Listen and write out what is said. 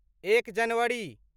एक जनवरी